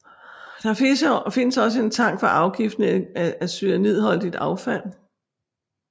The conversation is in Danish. Der findes også en tank for afgiftning af cyanidholdigt affald